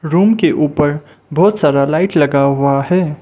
Room के ऊपर बहुत सारा लाइट लगा हुआ है।